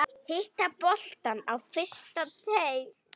Hitta boltann á fyrsta teig.